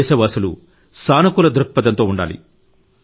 దేశవాసులు సానుకూల దృక్పథంతో ఉండాలి